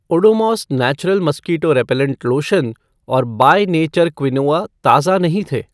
Odomos natural mosquito repellent lotion और By Nature quinoa ताज़ा नहीं थे।